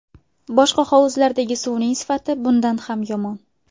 Boshqa hovuzlardagi suvning sifati bundan ham yomon.